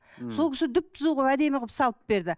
сол кісі түп түзу қылып әдемі қылып салып берді